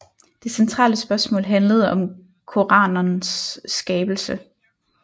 Det centrale spørgsmål handlede om koranenes skabelse